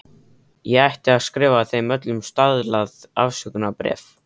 Ég ætti að skrifa þeim öllum staðlað afsökunarbréf.